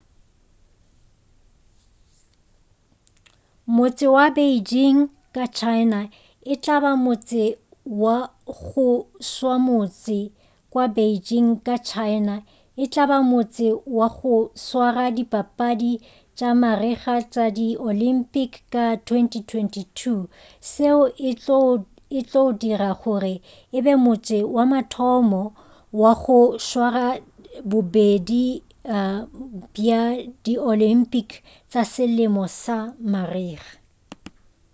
motse wa beijing ka china e tla ba motse wa go swamotse wa beijing ka china e tla ba motse wa go swara dipapadi tša marega tša di olympic ka 2022 seo e tlo o dira gore e be motse wa mathomo wa go swara bobedi bja di olympic tša selemo le marega